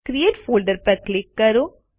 create folder પર click કરો